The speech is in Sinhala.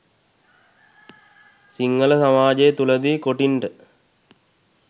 සිංහල සමාජය තුළ දී කොටින්ට